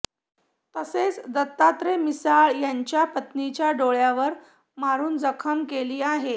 तसेच दत्तात्रय मिसाळ यांच्या पत्नीच्या डोळ्यावर मारून जखम केली आहे